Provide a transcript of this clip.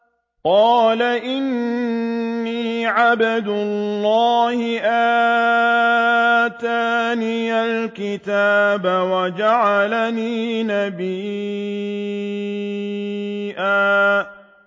قَالَ إِنِّي عَبْدُ اللَّهِ آتَانِيَ الْكِتَابَ وَجَعَلَنِي نَبِيًّا